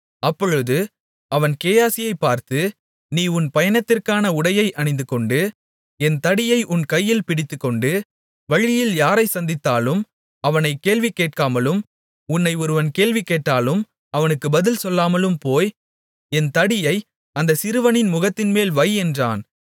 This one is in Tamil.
அப்பொழுது அவன் கேயாசியைப் பார்த்து நீ உன் பயணத்திற்கான உடையை அணிந்துகொண்டு என் தடியை உன் கையில் பிடித்துக்கொண்டு வழியில் யாரைச் சந்தித்தாலும் அவனைக் கேள்வி கேட்காமலும் உன்னை ஒருவன் கேள்வி கேட்டாலும் அவனுக்கு பதில் சொல்லாமலும் போய் என் தடியை அந்தச் சிறுவனின் முகத்தின்மேல் வை என்றான்